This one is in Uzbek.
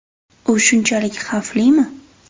U shunchalik xavflimi?